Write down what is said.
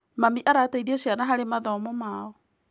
Mami arateithia ciana harĩ mathomo mao.